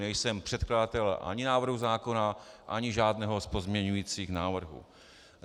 Nejsem předkladatel ani návrhu zákona ani žádného z pozměňovacích návrhů.